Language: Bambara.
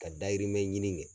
Ka dayirimɛ ɲini kɛ.